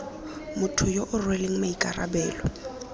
motho yo o rweleng maikarabelo